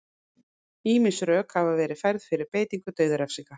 Ýmis rök hafa verið færð fyrir beitingu dauðarefsinga.